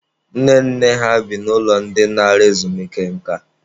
Nne nne ha bi n'ụlọ ndị nara ezumike nka.